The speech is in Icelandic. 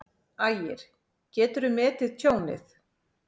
Ægir: Geturðu metið tjónið?